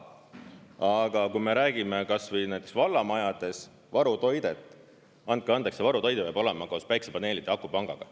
Aga kui me räägime kas või näiteks vallamajades varutoidet, andke andeks, see varutoide peab olema koos päikesepaneelide ja akupangaga.